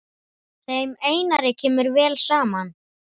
Þeim Einari kemur vel saman.